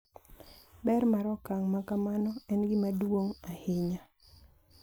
Ber mar okang` makamano en gima duong’ ahinya.